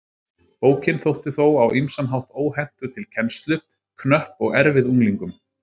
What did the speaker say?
Bókin þótti þó á ýmsan hátt óhentug til kennslu, knöpp og erfið unglingum.